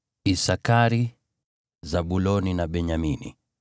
Isakari, Zabuloni na Benyamini;